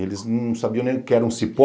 Eles não sabiam nem o que era um cipó.